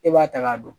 E b'a ta k'a dɔn